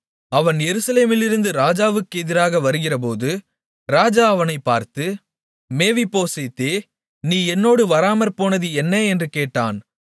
அவன் எருசலேமிலிருந்து ராஜாவுக்கு எதிராக வருகிறபோது ராஜா அவனைப் பார்த்து மேவிபோசேத்தே நீ என்னோடு வராமற்போனது என்ன என்று கேட்டான்